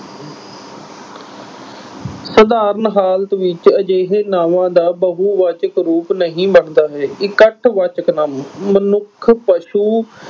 ਸਧਾਰਨ ਹਾਲਤ ਵਿੱਚ ਅਜਿਹੇ ਨਾਵਾਂ ਦਾ ਬਹੁਵਾਚਕ ਰੂਪ ਨਹੀਂ ਬਣਦਾ ਹੈ। ਇਕੱਠਵਾਚਕ ਨਾਂਵ ਮਨੁੱਖ, ਪਸ਼ੂ